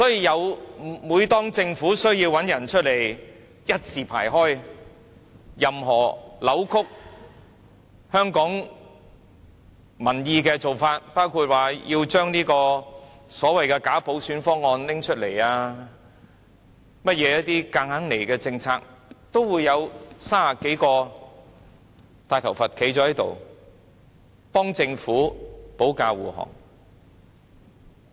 因此，每當政府需要支持的時候，這些人便會一字排開，任何扭曲香港民意的做法，包括提出所謂的"假普選"方案、一些強硬推行的政策等，都會有30多個"大頭佛"站出來替政府保駕護航。